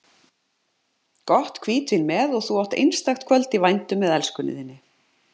Gott hvítvín með og þú átt einstakt kvöld í vændum með elskunni þinni.